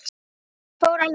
Þetta fór alveg með ömmu.